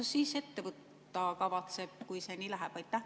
Mida valitsus ette võtta kavatseb, kui see nii läheb?